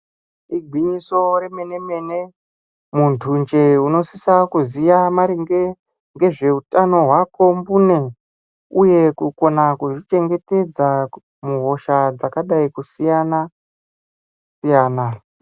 Igwinyiso remene-mene muntu njee unosisa kuziya maringe ngezveutano hwako mbune uye kukona kuzvichengetedza muhosha dzakadai kusiyana-siyana.